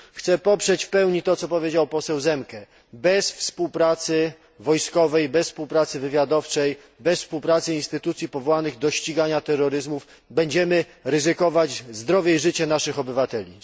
Chcę poprzeć w pełni to, co powiedział poseł Zemke bez współpracy wojskowej, bez współpracy wywiadowczej, bez współpracy instytucji powołanych do ścigania terroryzmu, będziemy ryzykować zdrowie i życie naszych obywateli.